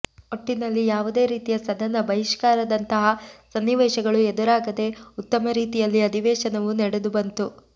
ಒಟ್ಟಿನಲ್ಲಿ ಯಾವುದೇ ರೀತಿಯ ಸದನ ಬಹಿಷ್ಕಾರದಂತಹ ಸನ್ನಿವೇಶಗಳು ಎದುರಾಗದೆ ಉತ್ತಮ ರೀತಿಯಲ್ಲಿ ಅಧಿವೇಶನವು ನಡೆದುಬಂತು